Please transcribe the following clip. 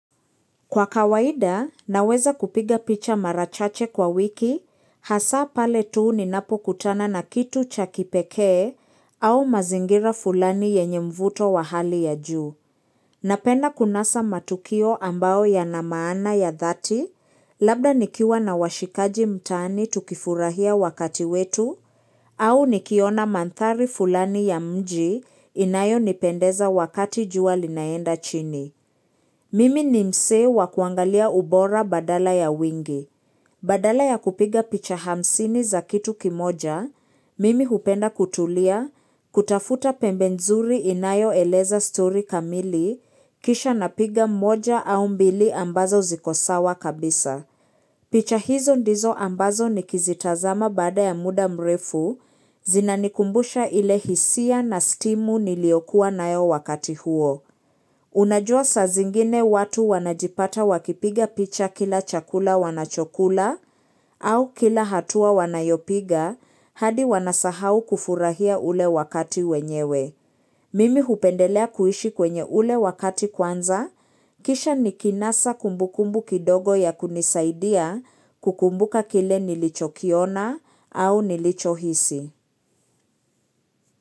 Kwa kawaida, naweza kupiga picha marachache kwa wiki, hasa pale tuu ni napo kutana na kitu cha kipekee au mazingira fulani yenye mvuto wa hali ya juu. Napenda kunasa matukio ambao ya namaana ya dhati, labda nikiwa na washikaji mtaani tukifurahia wakati wetu, au nikiona mandhari fulani ya mji inayo nipendeza wakati jua linaenda chini. Mimi ni mse wa kuangalia ubora badala ya wingi. Badala ya kupiga picha hamsini za kitu kimoja, mimi hupenda kutulia, kutafuta pembenzuri inayo eleza story kamili, kisha napiga mmoja au mbili ambazo zikosawa kabisa. Picha hizo ndizo ambazo ni kizitazama baada ya muda mrefu, zinanikumbusha ile hisia na stimu niliokuwa na yo wakati huo. Unajua sa zingine watu wanajipata wakipiga picha kila chakula wanachokula au kila hatua wanayopiga hadi wanasahau kufurahia ule wakati wenyewe. Mimi hupendelea kuishi kwenye ule wakati kwanza, kisha ni kinasa kumbukumbu kidogo ya kunisaidia kukumbuka kile nilicho kiona au nilicho hisi.